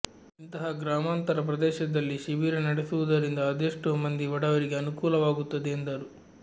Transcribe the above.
ಇಂತಹ ಗ್ರಾಮಾಂತರ ಪ್ರದೇಶದಲ್ಲಿ ಶಿಬಿರ ನಡೆಸುವುದರಿಂದ ಅದೆಷ್ಟೋ ಮಂದಿ ಬಡವರಿಗೆ ಅನುಕೂಲವಾಗುತ್ತದೆ ಎಂದರು